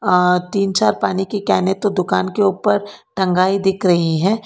आ तीन चार पानी की केने तो दुकान के ऊपर टंगाई दिख रही है।